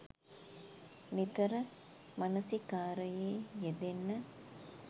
නිතර මනසිකාරයේ යෙදෙන්න.